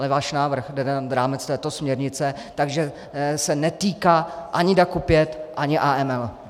Ale váš návrh jde nad rámec této směrnice, takže se netýká ani DAC 5, ani AML.